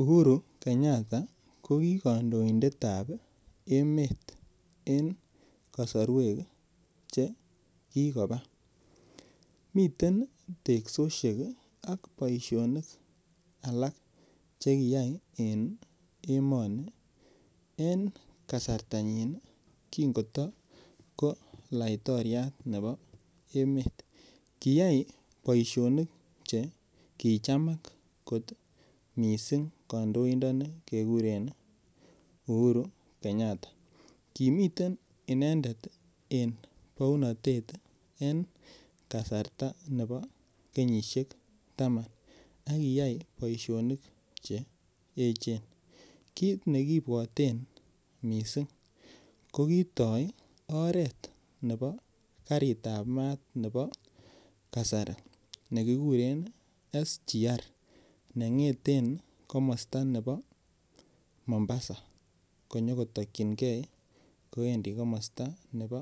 Uhuru Kenyatta ko ki kandoindet ap emet en kasorwek chekikopa miten teksoshek ak boishonik alak chekiyai en emoni en kasartanyin kingotoko laitoriat nepo emet kiyai boishonik cheki chamak kot missing kandoinoni kekuren Uhuru Kenyatta kimiten inendet en pounotet en kasarta nepo kenyishek taman akiyai boishonik cheechen kit nekiipwoten mising ko kitoi oret nepo karit ap mat nepo kasari nekikuren sgr nengeten komosta nepo Mombasa konyoko tokchinkei kowendi komosta nepo